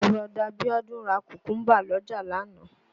Bùrọ̀dá Bíọ́dún ra Kùkúńbà l'ọ́jà lánàá